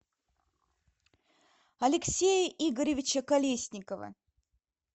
алексея игоревича колесникова